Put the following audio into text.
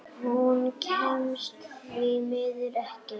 Hún kemst því miður ekki.